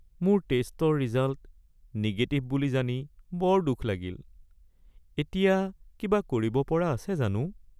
মোৰ টেষ্টৰ result negative বুলি জানি বৰ দুখ লাগিল। এতিয়া কিবা কৰিব পৰা আছে জানো?